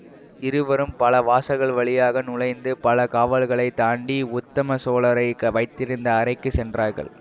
இருவரும் பல வாசல்கள் வழியாக நுழைந்து பல காவலர்களைத் தாண்டி உத்தம சோழரை வைத்திருந்த அறைக்கு சென்றார்கள்